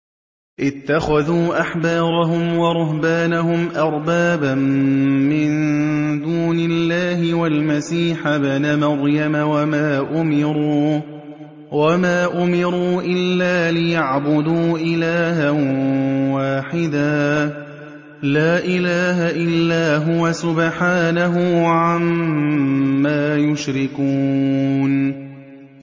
اتَّخَذُوا أَحْبَارَهُمْ وَرُهْبَانَهُمْ أَرْبَابًا مِّن دُونِ اللَّهِ وَالْمَسِيحَ ابْنَ مَرْيَمَ وَمَا أُمِرُوا إِلَّا لِيَعْبُدُوا إِلَٰهًا وَاحِدًا ۖ لَّا إِلَٰهَ إِلَّا هُوَ ۚ سُبْحَانَهُ عَمَّا يُشْرِكُونَ